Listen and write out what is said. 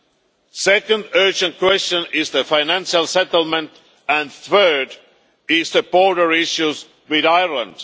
The second urgent question is the financial settlement and the third is the border issues with Ireland.